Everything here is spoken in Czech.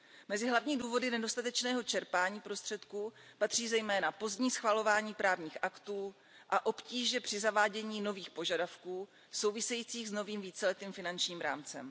Mezi hlavní důvody nedostatečného čerpání prostředků patří zejména pozdní schvalování právních aktů a obtíže při zavádění nových požadavků souvisejících s novým víceletým finančním rámcem.